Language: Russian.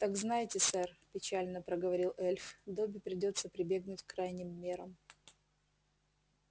так знайте сэр печально проговорил эльф добби придётся прибегнуть к крайним мерам